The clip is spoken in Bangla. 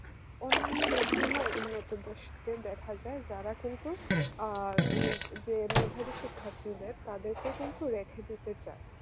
অন্যান্য বিভিন্ন উন্নত দেশকে দেখা যায় যারা কিন্তু আ যে মেধাবী শিক্ষার্থীদের তাদেরকে কিন্তু রেখে দিতে চাই